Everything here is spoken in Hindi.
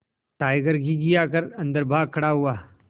टाइगर घिघिया कर अन्दर भाग खड़ा हुआ